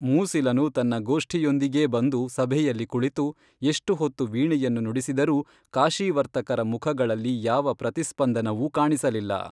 ಮೂಸಿಲನು ತನ್ನ ಗೋಷ್ಠಿಯೊಂದಿಗೇ ಬಂದು ಸಭೆಯಲ್ಲಿ ಕುಳಿತು ಎಷ್ಟು ಹೊತ್ತು ವೀಣೆಯನ್ನು ನುಡಿಸಿದರೂ ಕಾಶೀವರ್ತಕರ ಮುಖಗಳಲ್ಲಿ ಯಾವ ಪ್ರತಿಸ್ಪಂದನವೂ ಕಾಣಿಸಲಿಲ್ಲ